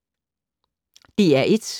DR1